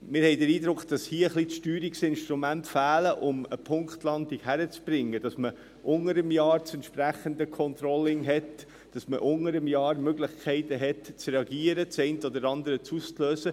Wir haben den Eindruck, dass hier ein wenig die Steuerungsinstrumente fehlen, um eine Punktlandung hinzukriegen, sodass man unter dem Jahr das entsprechende Controlling und unter dem Jahr Möglichkeiten hat, zu reagieren, um das eine oder andere auszulösen.